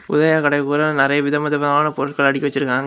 உதய கடைக்கு போதுல நெறைய விதவிதமான பொருட்கள் அடுக்கி வச்சிருக்காங்க.